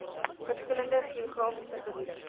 verskillende geografiese gebiede